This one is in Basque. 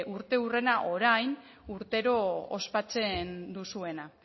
urteurrena orain urtero ospatzen duzuena